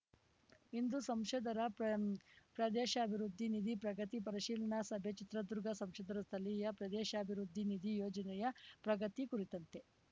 ಇಂದು ಸಂಸದರ ಪ್ರಮ್ ಪ್ರದೇಶಾಭಿವೃದ್ಧಿ ನಿಧಿ ಪ್ರಗತಿ ಪರಿಶೀಲನಾ ಸಭೆ ಚಿತ್ರದುರ್ಗ ಸಂಸದರ ಸ್ಥಳೀಯ ಪ್ರದೇಶಾಭಿವೃದ್ಧಿ ನಿಧಿ ಯೋಜನೆಯ ಪ್ರಗತಿ ಕುರಿತಂತೆ